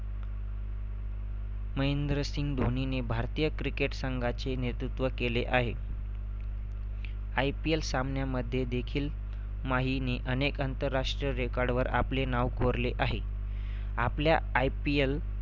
महेंद्रसिंह धोनीने भारतीय cricket संघाचे नेतृत्व केले आहे. IPL सामन्यामध्ये देखील माहीने अनेक अंतरराष्ट्रीय record वर आपले नाव कोरले आहे. आपल्या IPL